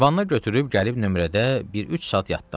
Vanna götürüb gəlib nömrədə bir üç saat yatdım.